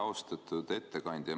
Austatud ettekandja!